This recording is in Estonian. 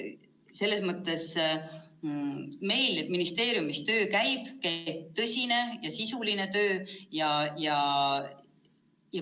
Selles mõttes meil ministeeriumis töö käib, käib tõsine ja sisuline töö.